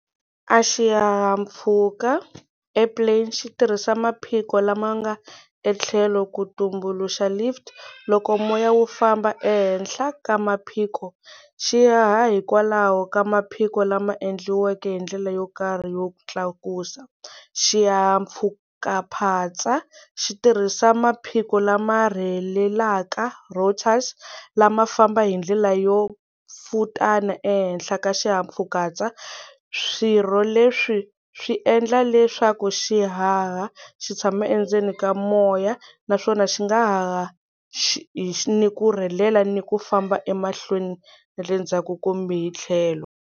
A xihahampfhuka a air plane xi tirhisa maphiko lama nga etlhelo ku tumbuluxa lift loko moya wu famba ehenhla ka maphikoo xi ha ha hikwalaho ka maphiko lama endliweke hi ndlela yo karhi ya ku tlakusa, xihahampfhukaphatsa xi tirhisa maphiko lama rhelelaka routers lama famba hi ndlela yo pfutana ehenhla ka xihahampfhukaphatsa swirho leswi swi endla leswaku xi haha xi tshama endzeni ka moya naswona xi nga haha ni ku rhelela ni ku famba emahlweni na le ndzhaku kumbe hi tlhelo.